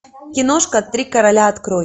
киношка три короля открой